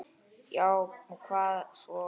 Já og hvað svo?